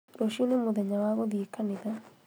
Rũciũ nĩ mũthenya wa gũthiĩ kanitha